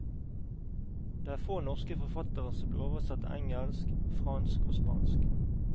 Det er få norske forfattere som blir oversatt til engelsk, fransk og spansk.